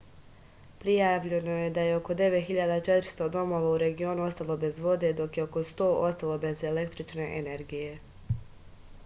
prijavljeno je da je oko 9400 domova u regionu ostalo bez vode dok je oko 100 ostalo bez električne energije